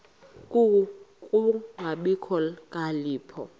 ku kungabi nokhalipho